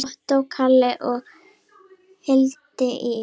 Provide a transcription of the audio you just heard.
Ottó Karli og Hildi Ýr.